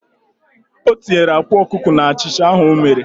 O tinyere akwa okuko n'achicha ahu o mere.